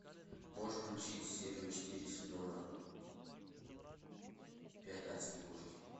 можешь включить серию четыре сезона пять адские кошки